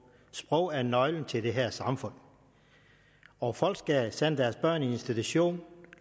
sprog er nøglen til det her samfund og folk skal sende deres børn i institution